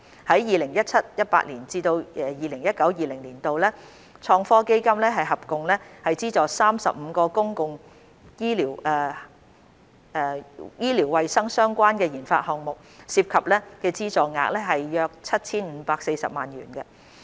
在 2017-2018 年度至 2019-2020 年度，創科基金合共資助35個公共醫療衞生相關的研發項目，涉及資助額約 7,540 萬元。